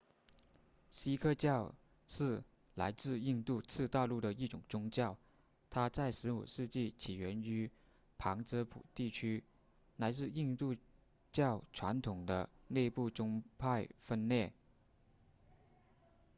锡克教是来自印度次大陆的一种宗教它在15世纪起源于旁遮普地区来自印度教传统的内部宗派分裂